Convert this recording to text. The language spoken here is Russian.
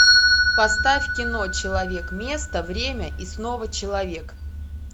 поставь кино человек место время и снова человек